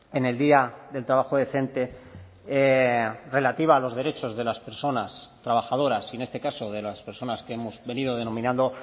en el día del trabajo decente relativa a los derechos de las personas trabajadoras y en este caso de las personas que hemos venido denominando